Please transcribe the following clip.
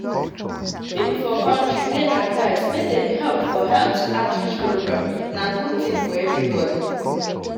people for country dey advised make dem help for health outreach program na good thing for everybody.